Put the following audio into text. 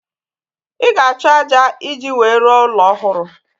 Ị ga-achọ ájá iji wee rụọ ụlọ ọhụrụ